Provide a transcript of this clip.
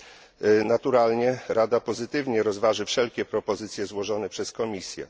Rada naturalnie pozytywnie rozważy wszelkie propozycje złożone przez Komisję.